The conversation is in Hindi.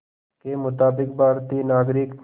के मुताबिक़ भारतीय नागरिक